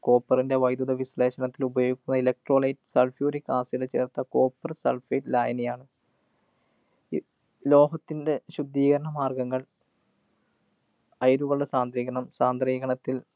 copper ൻ്റെ വൈദ്യുത വിശ്ലേഷണത്തിനുപയോഗിക്കുന്ന electrolitesulphuric acid ചേര്‍ത്ത copper sulphate ലായനിയാണ്. ലോഹത്തിൻ്റെ ശുദ്ധീകരണ മാര്‍ഗ്ഗങ്ങള്‍ അയിരുകളുടെ സാന്ദ്രീകരണം സാന്ദ്രീകരണത്തില്‍